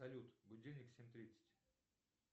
салют будильник в семь тридцать